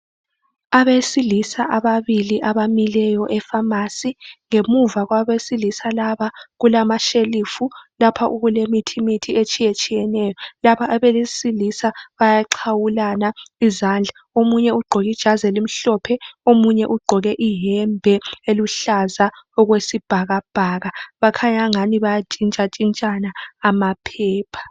Abesilisa ababili abamileyo efamasi. Ngemuva kwabesilisa laba kulamashelufu lapho okulemithimithi etshiyetshiyeneyo. Laba abesilisa bayaxhawulana izandla, omunye ugqoke ijazi elimhlophe, omunye ugqoke iyembe eluhlaza okwesibhakabhaka. Bakhanya angani bayantshintshantshintshana amaphepha.